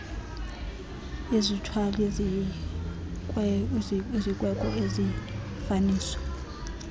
izithwali zikweko nezifaniso